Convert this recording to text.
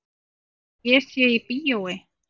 Að ég sé í bíói.